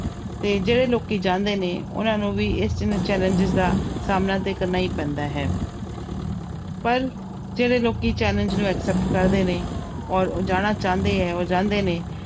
ਤੇ ਜਿਹੜੇ ਲੋਕੀ ਜਾਂਦੇ ਨੇ ਉਹਨਾਂ ਨੂੰ ਵੀ ਇਸ challenge ਦਾ ਸਾਹਮਣਾ ਤੇ ਕਰਨਾ ਹੀ ਪੈਂਦਾ ਹੈ ਪਰ ਜਿਹੜੇ ਲੋਕੀ challenge ਨੂੰ accept ਕਰਦੇ ਨੇ ਔਰ ਜਾਣਾ ਚਾਹੁੰਦੇ ਹੈ ਉਹ ਜਾਂਦੇ ਨੇ।